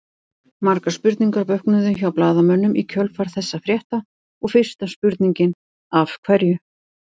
Margar spurningar vöknuðu hjá blaðamönnum í kjölfar þessa frétta og fyrsta spurningin Af hverju?